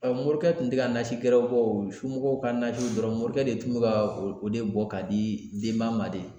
morikɛ tun tɛ ka nasi gɛrɛ bɔ o somɔgɔw ka nasiw dɔrɔn morikɛ de tun bɛ ka o de bɔ ka di denba ma de.